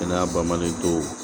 Kɛnɛya ba manli dɔw